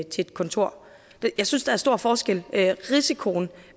til et kontor jeg synes der er stor forskel risikoen